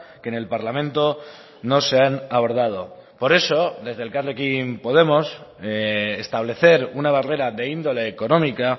que en el parlamento no se han abordado por eso desde elkarrekin podemos establecer una barrera de índole económica